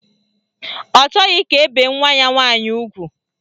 Ọ chọghị ka e bee nwa ya nwaanyị ugwu